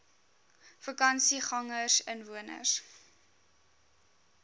vakansiegangersinwoners